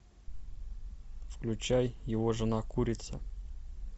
включай его жена курица